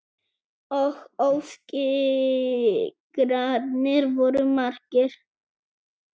Og ósigrarnir voru margir.